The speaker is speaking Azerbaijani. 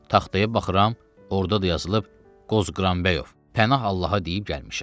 Taxtaya baxıram, orada da yazılıb: Qozqranbəyov, Pənah Allaha deyib gəlmişəm.